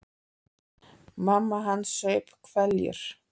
Mamma hans saup hveljur.